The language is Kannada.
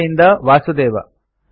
ಬಾಂಬೆ ಇಂದ ವಾಸುದೇವ